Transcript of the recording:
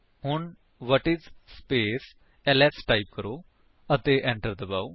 ਹੁਣ whatis space LS type ਕਰੋ ਅਤੇ enter ਦਬਾਓ